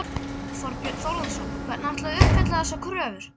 Þorbjörn Þórðarson: Hvernig ætlið þið að að uppfylla þessar kröfur?